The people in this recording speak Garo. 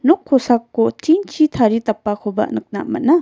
nok kosako tin-chi taridapakoba nikna man·a.